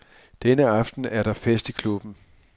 Denne aften er der fest i klubben.